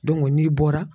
n'i bɔra